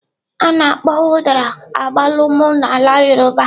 A na-akpọkwa Udara agbalumo na ala yoruba.